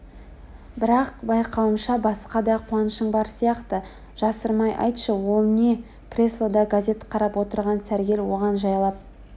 бірақ байқауымша басқа да қуанышың бар сияқты жасырмай айтшы ол не креслода газет қарап отырған сәргел оған жайлап